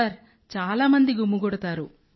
sir చాలా మంది గుమిగూడతారు